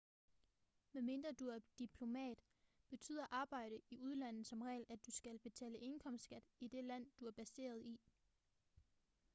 medmindre du er diplomat betyder arbejde i udlandet som regel at du skal betale indkomstskat i det land du er baseret i